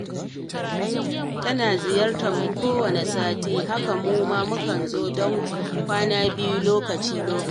Tana ziyartar mu kowanne sati, haka mu ma muke zuwa don kwana biyu lokaci-lokaci.